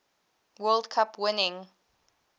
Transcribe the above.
world cup winning